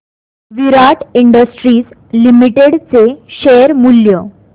विराट industries limited चे share मूल्य